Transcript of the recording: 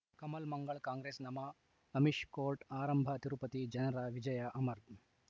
ಕಮಲ್ ಮಂಗಳ್ ಕಾಂಗ್ರೆಸ್ ನಮಃ ಅಮಿಷ್ ಕೋರ್ಟ್ ಆರಂಭ ತಿರುಪತಿ ಜನರ ವಿಜಯ ಅಮರ್